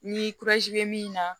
Ni bɛ min na